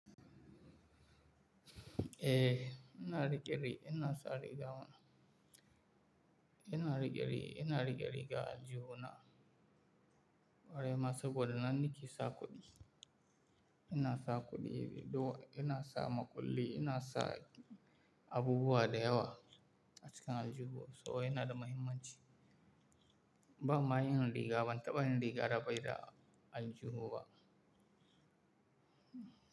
Eh, ina riƙe-riƙe ina sa riga mana. Ina riƙe-riƙe, ina riƙe-riƙe aljihu na. Kwarai ma saboda nan nike sa kuɗi. Ina sa kuɗi, ina sa makulli, ina sa abubuwa dayawa a cikin aljuhu. Saboda yana da mahimman ci. Ban mayin riga ban, taba yin riga da bai da aljuhu ba.